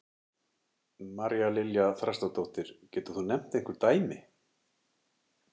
María Lilja Þrastardóttir: Getur þú nefnt einhver dæmi?